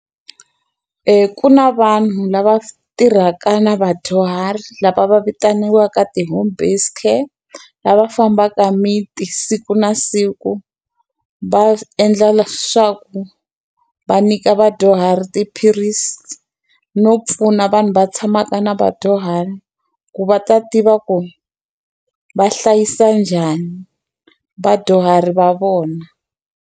ku na vanhu lava tirhaka na vadyuhari lava va vitaniwaka ti-homebased care. Lava fambaka miti siku na siku, va endla leswaku va nyika vadyuhari tiphilisi. No pfuna vanhu va tshamaka na vadyuhari ku va ta tiva ku ri va hlayisa njhani vadyuhari va vona.